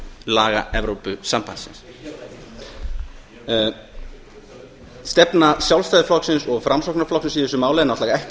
laga evrópusambandsins stefna sjálfstæðisflokksins og framsóknarflokksins í þessu máli er náttúrlega ekki